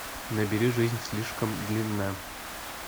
набери жизнь слишком длинна